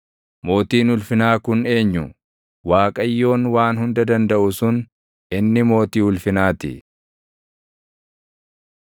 Mootiin ulfinaa kun eenyu? Waaqayyoon Waan Hunda Dandaʼu sun, inni Mootii ulfinaa ti.